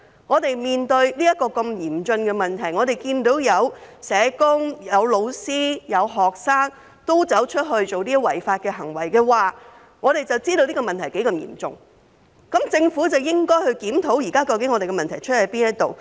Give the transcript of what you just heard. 我們面對如此嚴峻的問題，當看到有社工、有老師、有學生均作出違法行為，便知道這個問題多麼嚴重，政府便應檢討現時的問題所在。